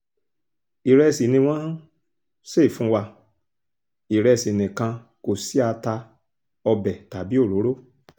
ìrẹsì ni wọ́n ń ṣe fún wa ìrẹsì nìkan kò sí ata ọbẹ̀ tàbí òróró